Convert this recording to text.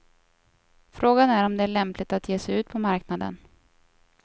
Frågan är om det är lämpligt att ge sig ut på marknaden.